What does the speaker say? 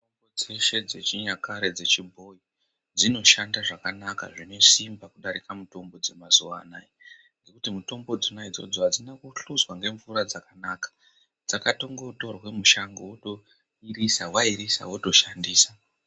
Mitombo dzeshe dzechinyakare dzechibhoyi dzinoshanda zvakanaka zvinesimba kudarika mitombo dzemazuwa anaya , ngekuti mitombo dzona idzodzo adzina kuhluzwa ngemnvura dzakanaka ,dzakatongotorwa mushango wotoirisa wairisa wotoshandisa.